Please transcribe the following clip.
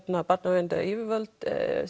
barnaverndaryfirvöld